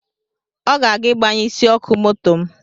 Ọ ga-aga igbanye isi ọkụ moto m